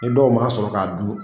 Ni dɔw m'a sɔrɔ k'a dun